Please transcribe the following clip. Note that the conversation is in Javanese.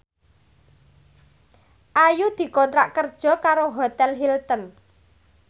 Ayu dikontrak kerja karo Hotel Hilton